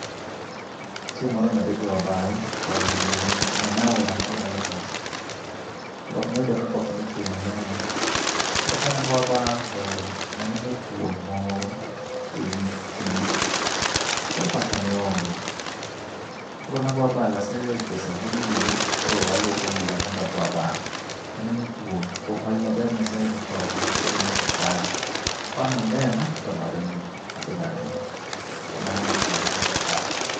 Chieng' moro ne adhi goyo abal, to nene en aora moro dala kocha. Koro noyudo ka koth nochwe mang'eny. Koro kane agoyo abal to ne aneno thuol moro ewi kidi koro pacha ne onge. Koro ne agoyo abal, ase goyo sabun ewiya, koro aluoko wiya mondo ago abal. To aneno thuol, kuom hawi maber Nyasaye ne okonya kendo ne ok okaya. Kane onena to noringo, an be naringo. Koro mano nokonya, ne ok okaya.